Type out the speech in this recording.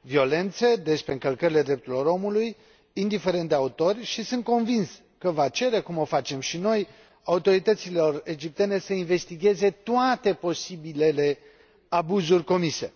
violențe, despre încălcările drepturilor omului, indiferent de autori, și sunt convins că va cere, cum o facem și noi, autorităților egiptene să investigheze toate posibilele abuzuri comise.